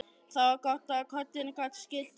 Það var gott að koddinn gat skýlt gráti hennar.